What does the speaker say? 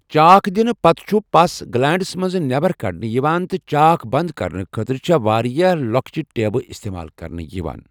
چاک دِنہٕ پتہٕ چُھ پَس گٕلینٛڑٕ منٛزٕ نیٚبر کڑنہٕ یِوان، تہٕ چاک بنٛد کرنہٕ خٲطرٕ چھےٚ واریاہ لۄکچہِ ٹیبہٕ اِستعمال کرنہٕ یِوان ۔